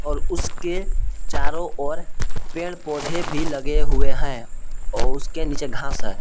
और उसके चारों ओर पेड़ पौधे भी लगे हुए हैं और उसके नीचे घास है।